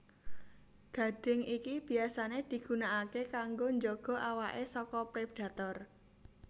Gadhing iki biyasané digunakaké kanggo njaga awaké saka predator